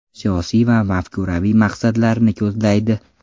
Siyosiy va mafkuraviy maqsadlarni ko‘zlaydi.